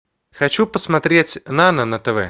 хочу посмотреть нано на тв